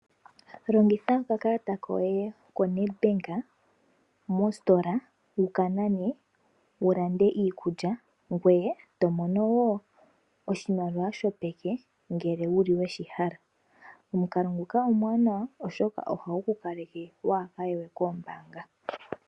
Longitha okakalata koye koNedbank mositola wukanane wulande iikulya ngoye tomono wo oshimaliwa shopeke ngele wuli weshihala. Omukalo nguka omuwanawa oshoka ohagu ku kaleke waaye we koombanga.